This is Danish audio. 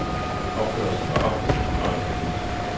Opførelsen var oftest en fornøjelse at lytte til.